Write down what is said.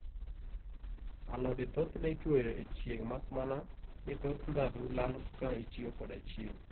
alode thoth ne ituyo e chieng makmana ni thoth ndhadhu lal ka itiyo koda chieng